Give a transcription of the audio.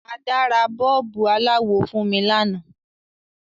Ada ra bọ́ọ̀bù aláwọ̀ fun mi lanáà